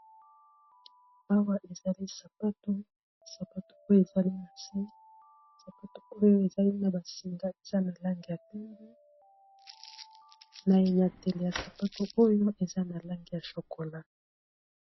Awa ezali sapato, sapato oyo ezali na se sapato oyo ezali na ba singa eza na langi ya pembe na enyateli ya sapato oyo eza na langi ya chokola.